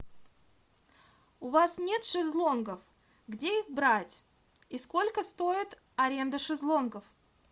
у вас нет шезлонгов где их брать и сколько стоит аренда шезлонгов